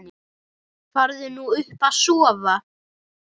Farðu nú upp að sofa.